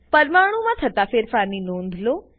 પરમાણુમાં થતા ફેરફારની નોંધ લો